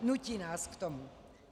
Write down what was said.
Nutí nás k tomu.